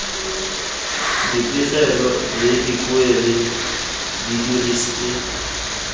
dipegelo le dipoelo di diretswe